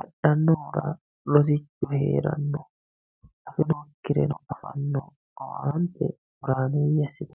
adhannohura rosichu heeranno afinokkireno afanno owaante horaameeyye assitanno.